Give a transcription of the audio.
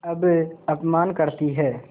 अब अपमान करतीं हैं